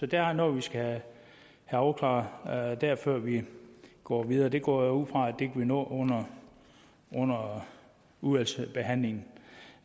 der er noget vi skal have afklaret der før vi går videre det går jeg ud fra at vi kan nå under under udvalgsbehandlingen